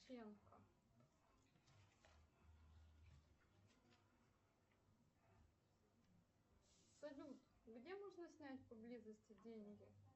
салют где можно снять поблизости деньги